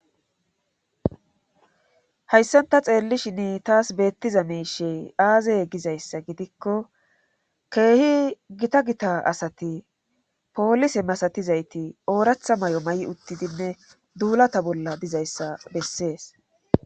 hayssanta xeellishini taas beettiza meishey aazaye gizayssa gidikko keehi gita gita asati poolise masatizayti ooratha may7o ma7i uttidinne duulata bolla dizayssa bessees